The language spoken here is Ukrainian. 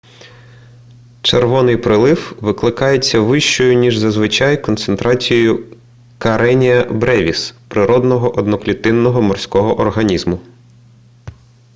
червоний приплив викликається вищою ніж зазвичай концентрацією кареніа бревіс природного одноклітинного морського організму